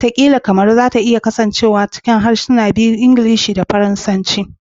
Wataƙila Kamaru za ta ci gaba da kasancewa cikin harsuna biyu, tare da Ingilishi da Faransanci.